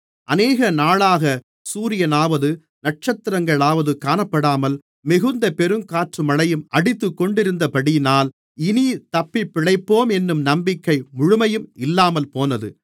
அநேகநாளாகச் சூரியனாவது நட்சத்திரங்களாவது காணப்படாமல் மிகுந்த பெருங்காற்றுமழையும் அடித்துக் கொண்டிருந்தபடியினால் இனித் தப்பிப்பிழைப்போமென்னும் நம்பிக்கை முழுமையும் இல்லாமல்போனது